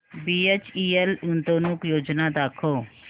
BHEL गुंतवणूक योजना दाखव